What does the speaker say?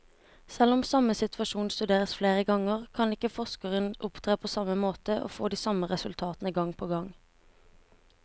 Selv om samme situasjon studeres flere ganger, kan ikke forskeren opptre på samme måte og få de samme resultatene gang på gang.